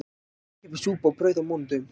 Ókeypis súpa og brauð á mánudögum